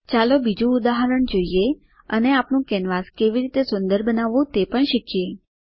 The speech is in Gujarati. ચાલો બીજું ઉદાહરણ જોઈએ અને આપણું કેનવાસ કેવી રીતે સુંદર બનાવવું તે પણ શીખીએ